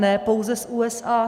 Ne pouze z USA.